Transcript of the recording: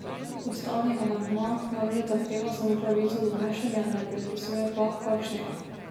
Ustavni amandma namreč zahteva samo pravico do nošenja, ne predpisuje pa, kakšnega.